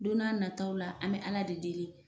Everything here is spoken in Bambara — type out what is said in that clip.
Don n'a nataw la an be ala de deli